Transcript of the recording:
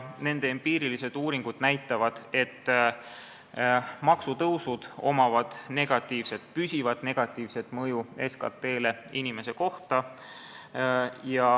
Nende empiirilised uuringud näitavad, et maksutõusudel on püsiv negatiivne mõju SKT-le inimese kohta.